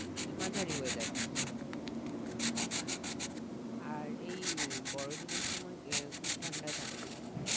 মানে মাঝারি weather থাকবে? আচ্ছা আর এই উম বড়ো দিনের সময় উহ খুব ঠান্ডা থাকে নাকি?